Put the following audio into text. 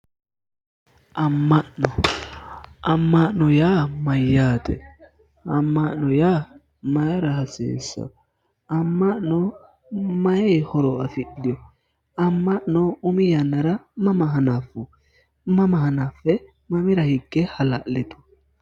Ama'no, ama'no yaa mayate, ama'no mayra hasiisano, ama'no maayi horo afidhino, ama'no umi yannara mama hanafu, mama hanafe mamira higge hala'litu.